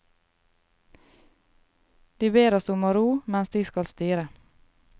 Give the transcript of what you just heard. De ber oss om å ro, mens de skal styre.